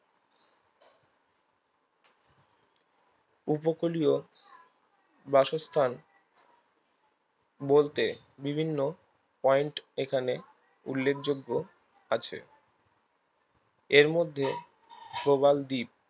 উপকূলীয় বাসস্থান বলতে বিভিন্ন point এখানে উল্লেখযোগ্য আছে এর মধ্যে প্রবালদ্বীপ